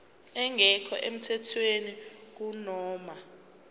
engekho emthethweni kunoma